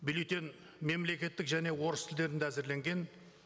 бюллетень мемлекеттік және орыс тілдерінде әзірленген